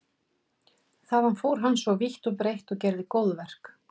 Þaðan fór hann svo vítt og breitt og gerði góðverk.